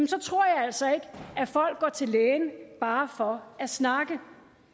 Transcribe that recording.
så tror jeg altså ikke at folk går til læge bare for at snakke